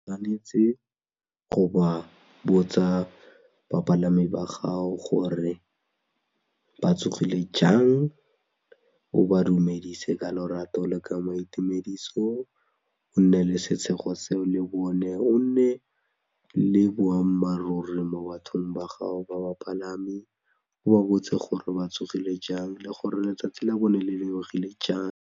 O tshwanetse go ba botsa bapalami ba gago gore ba tsogile jang, o ba dumedise ka lorato le ka maitumediso o nne le setshego seo le bone o nne le boammaaruri mo bathong ba gago ba bapalami o ba botse gore ba tsogile jang le gore letsatsi la bone le lebogile jang.